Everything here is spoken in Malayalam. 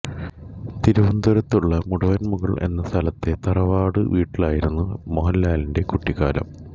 തിരുവനന്തപുരത്തുള്ള മുടവൻമുകൾ എന്ന സ്ഥലത്തെ തറവാട്ടു വീട്ടിലായിരുന്നു മോഹൻലാലിന്റെ കുട്ടിക്കാലം